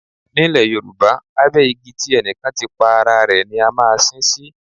Nílẹ̀ Yorùbá, abẹ igi tí ẹnì kan ti pa ara rẹ̀ ni a máa sin ín sí.